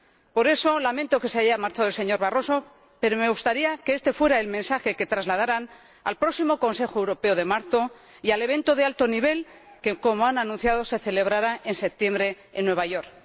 Por eso lamento que se haya marchado el señor Barroso, pero me gustaría que este fuera el mensaje que trasladaran al próximo Consejo Europeo de marzo y al evento de alto nivel que, como han anunciado, se celebrará en septiembre en Nueva York.